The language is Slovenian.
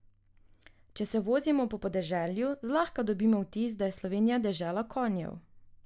Če se vozimo po podeželju, zlahka dobimo vtis, da je Slovenija dežela konjev.